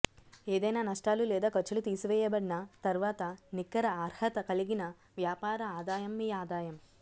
ఏదైనా నష్టాలు లేదా ఖర్చులు తీసివేయబడిన తర్వాత నికర అర్హత కలిగిన వ్యాపార ఆదాయం మీ ఆదాయం